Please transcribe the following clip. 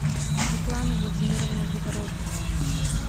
светлана владимировна загороднова